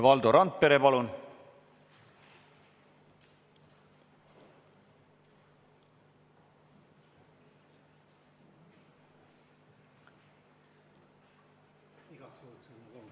Valdo Randpere, palun!